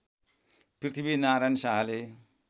पृथ्वीनारायण शाहले